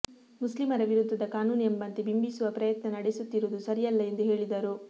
ಮುಸ್ಲಿಮರ ವಿರುದ್ಧದ ಕಾನೂನು ಎಂಬಂತೆ ಬಿಂಬಿಸುವ ಪ್ರಯತ್ನ ನಡೆಸುತ್ತಿರುವುದು ಸರಿಯಲ್ಲ ಎಂದು ಹೇಳಿದರು